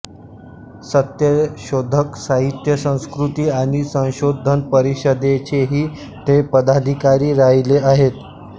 सत्यशोधक साहित्य संस्कृती आणि संशोधन परिषदेचेही ते पदाधिकारी राहिले आहेत